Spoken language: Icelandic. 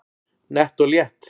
Nett og létt